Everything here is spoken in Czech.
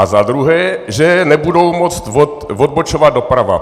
A za druhé, že nebudou moci odbočovat doprava.